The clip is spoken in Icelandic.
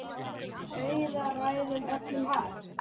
Auðna ræður öllum hag.